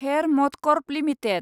hair MotoCorp limited